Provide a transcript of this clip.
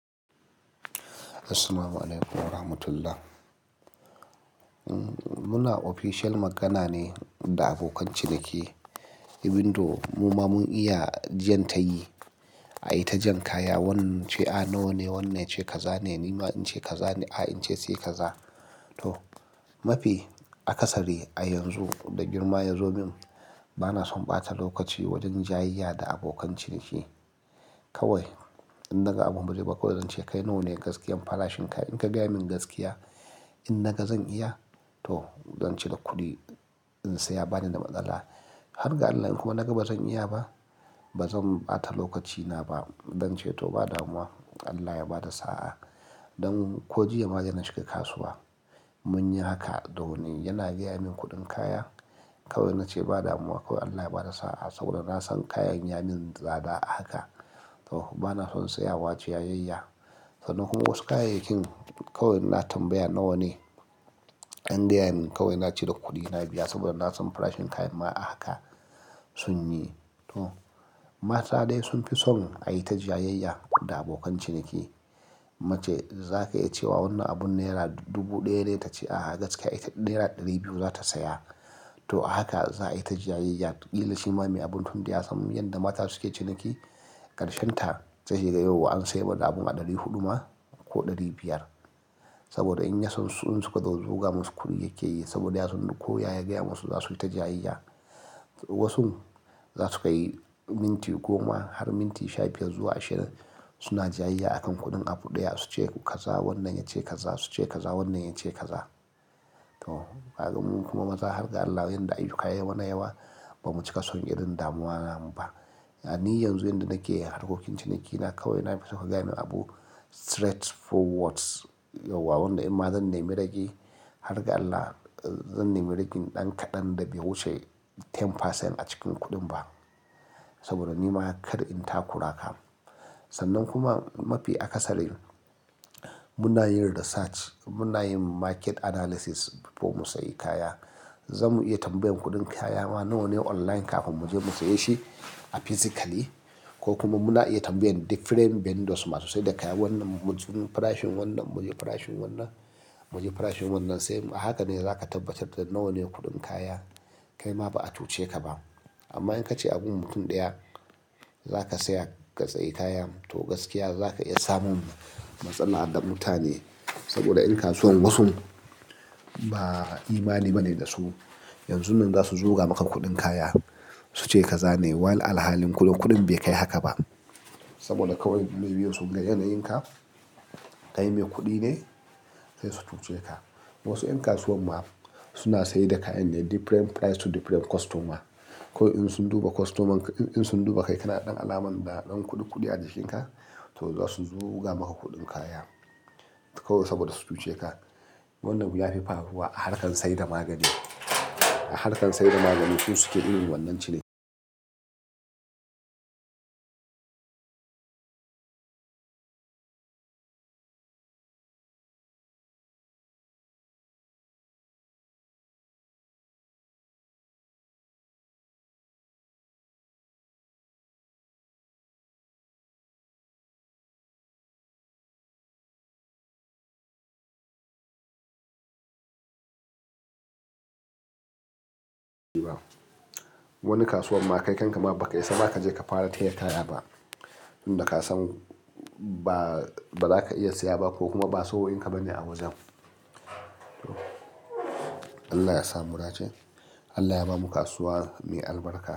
Assalamu alaikum wa rahmatullah. Muna official magana ne da abokan ciniki. Abin da mu ma mun iya jan tayi, ayi ta jan kaya. Wannan ce a nawa ne, wannan ce kaza ne, nima in ce kaza ne, a in ce sai kaza. To, mafi akasari a yanzu da girma ya zo min, bana son ɓata lokaci wajen jayayya da abokan ciniki. Kawai in naga abun bazai ba kawai zan ce kai nawa ne gaskiya farashin ka? In ka gaya min gaskiya, in naga zan iya to zan cire kuɗi in saya bani da matsala. Har ga Allah in kuma naga ba zan iya ba, ba zan ɓata lokacina ba. Zan ce to ba damuwa, Allah ya ba da sa'a. Ɗan ko jiya ma yana na shigaka kasuwa. Mun yi haka, do ni yana gaya min kuɗin kaya kawai na ce ba damuwa kawai Allah ya ba da sa'a saboda na san kayan ya min tsada a haka. To bana son tsayawa jayayya. Sannan kuma wasu kayayyakin kawai ina tambaya nawa ne? In gayamin kawai na cire kuɗina biya saboda na san farashin kayan ma a haka sun yi. To, mata dai sun fi son a yi ta jayayya da abokan ciniki. Mace za ka iya cewa wannan abun naira dubu ɗaya ne ta ce a'a gaskiya ita naira ɗari biyu za ta saya. To a haka za a yi ta jayayya, ki la shi ma mai abun tun da ya sam. Yanda mata suke ciniki ƙarshen ta sai kaga yau an sayar da abun a ɗari huɗu ma ko ɗari biyar. Saboda in yasun su suka zo su zuga musu kuɗi yake yi saboda ya sun ko yaya ya gaya musu za su yi ta jayayya. Wasu za su kai minti goma har minti shafi zuwa ashirin su na jayayya a kan kuɗin abu ɗaya. Su ce kaza wannan ya ce kaza su ce kaza wannan ya ce kaza. To, kaga mu kuma maza har ga Allah yanda ayyu ka yai mana yawa ba mu cika son irin damuwa namu ba. Ni yanzu yanda nake, harkokin cinikina kawai na fi soka gaya mani abu straightforward. Yauwa wannan in ma zan nemi raki har ga Allah, zan nemi raki ɗan kaɗan da bai wuce ten percent a cikin kuɗin ba. Saboda ni ma kar in ta kuraka. Sannan kuma mafi akasarin muna yin research muna yin market analysis before mu sayi kaya. Za mu iya tambayar kuɗin kaya ma nawa ne online kafin mu je mu saye shi a physically. Ko kuma muna iya tambayar different vendors masu saida kaya wannan mu ji farashin wannan, mu ji farashin wannan, mu ji farashin wannan sai mu, haka ne za ka tabbatar da nawa ne kuɗin kaya kai ma ba a tuce ka ba. Amma in ka ce abun mutum ɗaya za ka saya ka tsayi kaya to gaskiya za ka iya samun matsala da mutane. Saboda in kasuwan wasu ba imani ba ne da su. Yanzun nan za su zuga maka kuɗin kaya su ce kaza ne. Walan alhalin kuɗin bai kai haka ba. Saboda kawai sun ga yanayin ka kai mai kuɗi ne sai su tuce ka. Wasu 'yan kasuwan ma suna sayar da kayan ne different price to different customer. Kawai in sun duba customer in sun duba kai kana ɗan alamar ɗan kuɗi a jikinka to za su zuga maka kuɗin kaya. Kawai saboda su tuce ka. Wannan ya fi farfiwa a harkar sayar da magani, a harkar sayar da magani suke irin wannan ciniki. Wani kasuwan ma kai kan ka ma ba ka isa ba ka je ka fara taya kaya ba. Inda ka san ba, ba za ka iya siya ba ko kuma ba tsohuwan ka ba ne a wajen. Allah ya sa mudace. Allah ya ba mu kasuwa mai albarka.